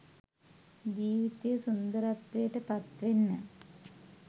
ජීවිතය සුන්දරත්වයට පත්වෙන්න